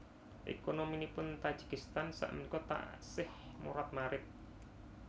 Ekonominipun Tajikistan sak menika taksih morat marit